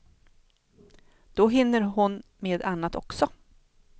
Då hinner hon med annat också.